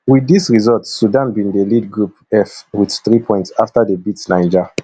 wit dis result sudan bin dey lead group f wit three points afta dey beat niger